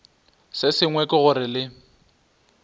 se sengwe ke gore le